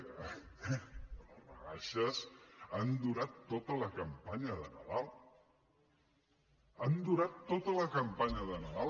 home les rebaixes han durat tota la campanya de nadal han durant tota la campanya de nadal